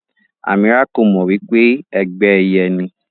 Amirah ko mọ wípé ẹgbẹ ẹyẹ ni.